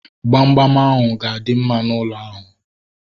Gbamgbam ahu ga-adị mma n'ụlọ ahu